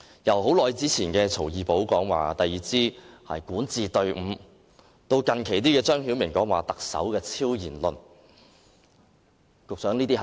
由多年前曹二寶說第二支管治隊伍，直至近期張曉明發表的特首超然論，這些是證據嗎，局長？